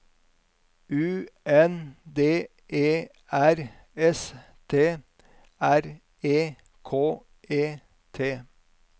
U N D E R S T R E K E T